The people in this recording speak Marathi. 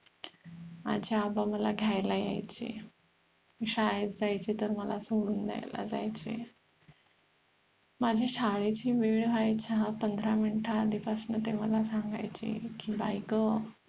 माझे आबा मला घ्यायला यायचे मी शाळेत जायची तर मला सोडून द्यायला जायचे माझी शाळेची वेळ व्हायच्या पंधरा मिनिट आधी पासन ते मला सांगायचे की बाईग